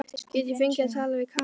Get ég fengið að tala við Kamillu?